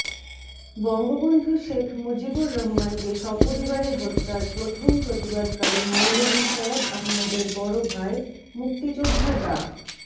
বঙ্গবন্ধু শেখ মুজিবুর রহমানকে সপরিবারে হত্যার প্রথম প্রতিবাদকারী মৌলভী সৈয়দ আহমদের বড়ভাই মুক্তিযোদ্ধা ডা